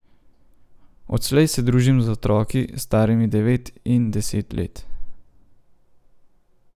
Odslej se družim z otroki, starimi devet in deset let.